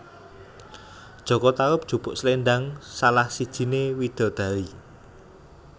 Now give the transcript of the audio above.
Jaka Tarub jupuk sléndang salah sijiné widadari